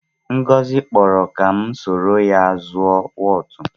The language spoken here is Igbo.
Ngozi kpọrọ ka m soro ha zuọ wọtụ.